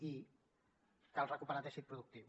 i cal recuperar teixit productiu